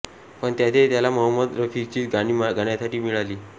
पण त्यातही त्याला मोहम्मद रफीचीच गाणी गाण्यासाठी मिळाली